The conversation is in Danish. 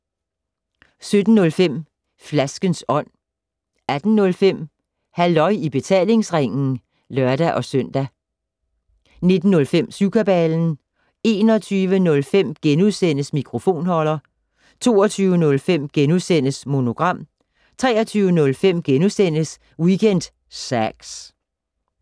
17:05: Flaskens Ånd 18:05: Halløj i betalingsringen (lør-søn) 19:05: Syvkabalen 21:05: Mikrofonholder * 22:05: Monogram * 23:05: Weekend Sax *